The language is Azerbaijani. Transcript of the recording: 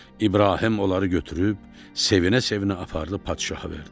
İbrahim onları götürüb sevinə-sevinə aparıb padişaha verdi.